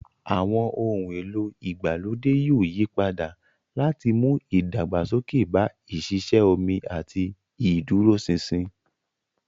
Àwọn ohun èlò ìgbàlódé yóò yí padà láti mú ìdàgbàsókè bá ìṣiṣẹ́ omi àti ìdúróṣinṣin.